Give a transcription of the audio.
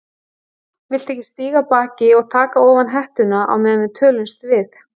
Viltu ekki stíga af baki og taka ofan hettuna á meðan við tölumst við?